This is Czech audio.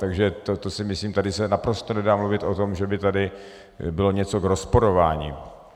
Takže to si myslím, tady se naprosto nedá mluvit o tom, že by tady bylo něco k rozporování.